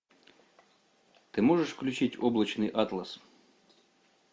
ты можешь включить облачный атлас